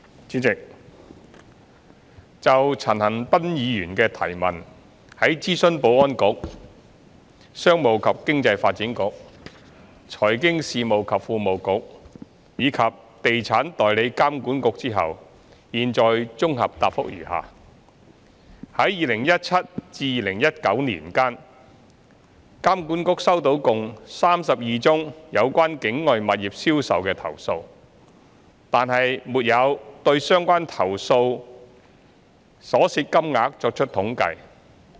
主席，就陳恒鑌議員的質詢，在諮詢保安局、商務及經濟發展局、財經事務及庫務局，以及地產代理監管局後，現綜合答覆如下：一在2017年至2019年間，監管局收到共32宗有關境外物業銷售的投訴，但沒有對相關投訴所涉金額作出統計。